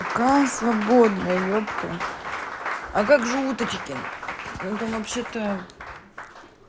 какая свободная епта а как же уточкин ну там вообще-то